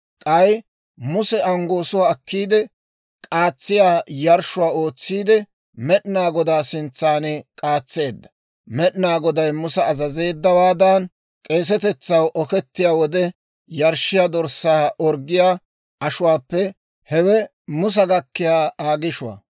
K'ay Muse anggoosuwaa akkiide, k'aatsiyaa yarshshuwaa ootsiide Med'inaa Godaa sintsan k'aatseedda; Med'inaa Goday Musa azazeeddawaadan, k'eesatetsaw okettiyaa wode yarshshiyaa dorssaa orggiyaa ashuwaappe hewe Musa gakkiyaa Aa gishuwaa.